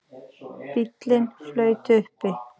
Bíllinn flaut uppi